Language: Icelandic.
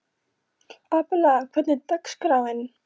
Abela, hvernig er dagskráin?